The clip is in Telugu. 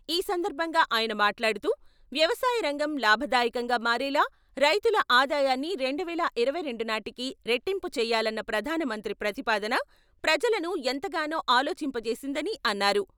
ఈ సందర్భంగా ఆయన మాట్లాడుతూ, వ్యవసాయ రంగం లాభదాయకంగా మారేలా రైతుల ఆదాయాన్ని రెండువేల ఇరవైరెండు నాటికి రెట్టింపు చేయాలన్న ప్రధానమంత్రి ప్రతిపాదన, ప్రజలను ఎంతగానో ఆలొచింపచేసిందని అన్నారు.